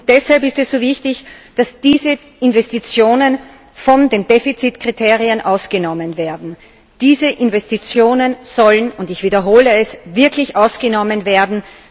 Deshalb ist es so wichtig, dass diese Investitionen von den Defizitkriterien ausgenommen werden. Diese Investitionen sollen und ich wiederhole es wirklich ausgenommen werden.